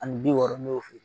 Ani bi wɔɔrɔ ne y'o f'e yen